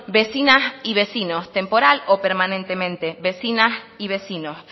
vecinas y vecinos temporal o permanentemente vecinas y vecinos